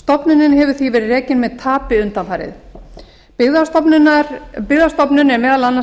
stofnunin hefur því verið rekin með tapi undanfarið byggðastofnun er meðal annars